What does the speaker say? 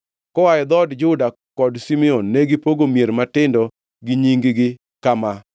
Koa e dhout Juda kod Simeon negipogo mier matindogi gi nying-gi kama: